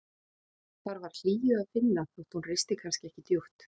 Þar var hlýju að finna þótt hún risti kannski ekki djúpt.